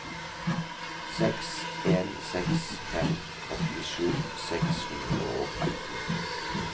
seks en seks fem åttisju seks hundre og atten